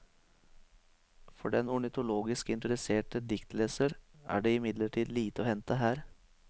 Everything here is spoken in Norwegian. For den ornitologisk interesserte diktleser er det imidlertid lite å hente her.